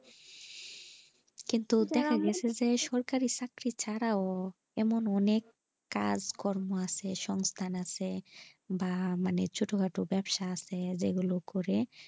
কিন্তু দেখা গেছে যে সরকারি চাকরি ছাড়াও এমন অনেক কাজ কম্মো আছে সংস্থান আছে যা মানে ছোট খাটো ব্যবসা আছে যে গুলো করে,